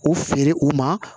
U feere u ma